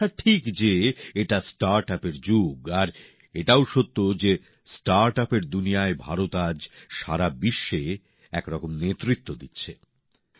একথা ঠিক যে এটা স্টার্টআপ এর যুগ আর এটাও সত্য যে স্টার্টআপের দুনিয়ায় ভারত আজ সারা বিশ্বে একরকম নেতৃত্ব দিচ্ছে